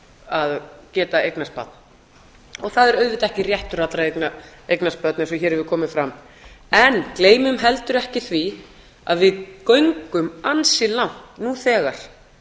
að geta eignast barn og það er auðvitað ekki réttur allra að eignast börn eins og hér hefur komið fram en gleymum heldur ekki því að við göngum ansi langt nú þegar